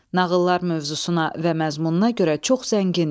Nağıllar mövzusuna və məzmununa görə çox zəngindir.